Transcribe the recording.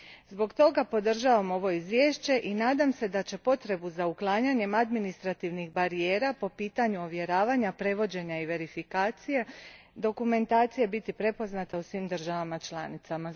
Zbog toga podržavam ovo izvješće i nadam se da će potreba za uklanjanjem administrativnih barijera po pitanju ovjeravanja, prevođenja i verifikacije dokumentacije biti prepoznata u svim državama članicama.